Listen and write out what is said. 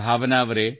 ಭಾವನಾ ಅವರೇ